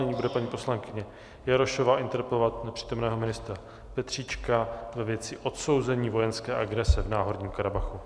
Nyní bude paní poslankyně Jarošová interpelovat nepřítomného ministra Petříčka ve věci odsouzení vojenské agrese v Náhorním Karabachu.